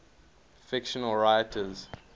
fictional writers